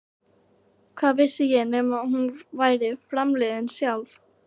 Hvað vissi ég nema hún væri framliðin sjálf?